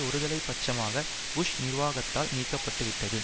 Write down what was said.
ஒருதலை பட்சமாக புஷ் நிர்வாகத்தால் நீக்க பட்டு விட்டது